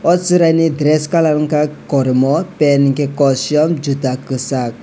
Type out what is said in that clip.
oh chwraini dress colour ungkha kormo pant hwnkhe kosom juta kwchak.